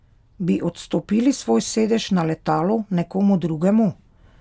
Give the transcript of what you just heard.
Bi odstopili svoj sedež na letalu nekomu drugemu?